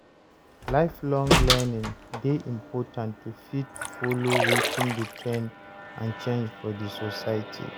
Lifelong learning de important to fit follow wetin de trend and change for di society